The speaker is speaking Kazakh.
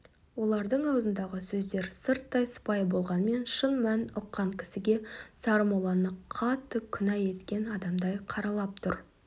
олардың аузындағы сөздер сырттай сыпайы болғанмен шын мәнін ұққан кісіге сармолланы қатты күнә еткен адамдай қаралап тұр